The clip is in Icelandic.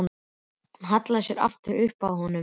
Hún hallaði sér aftur upp að honum.